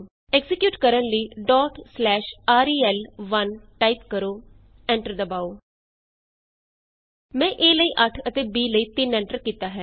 execute ਕਰਨ ਲਈ ਰੇਲ1 ਟਾਈਪ ਕਰੋ ਐਂਟਰ ਦਬਾਉ ਮੈਂ a ਲਈ 8 ਅਤੇ b ਲਈ 3 ਐਂਟਰ ਕੀਤਾ ਹੈ